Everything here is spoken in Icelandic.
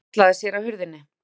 Hún hallaði sér að hurðinni.